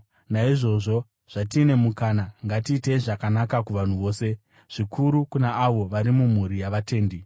Naizvozvo, zvatine mukana, ngatiitei zvakanaka kuvanhu vose, zvikuru kuna avo vari mumhuri yavatendi.